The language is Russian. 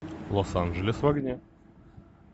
лос анджелес в огне